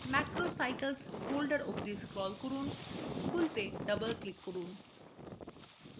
macrocycles folder অবধি scroll করুন; খুলতে double click করুন